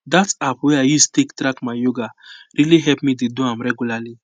that app wey i use take track my yoga really help me dey do am regularly